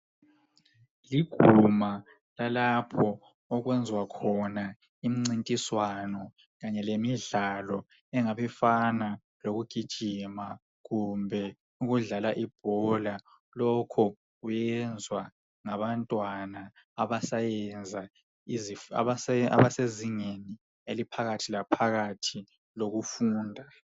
Liguma lalapho okwenziwa khona imincintiswano, kanye lemidlalo, engabifana lokugijima kumbe ukudlala ibhola. Lokho kuyenzwa ngabantwana abasayenza, abasezingeni eliphakathi laphakathi lokufunda.